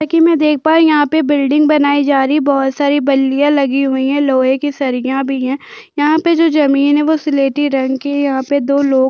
जैसे की मै देख पा रही हु यहाँ पे बिल्डिंग बनाई जा रही है बहोत सारी बल्लीया लगी हुई है लोहै कि सरिया भी है यहाँ पे जो जमीन है वो सिलेटी रंग कि है यहाँ पे दो लोग--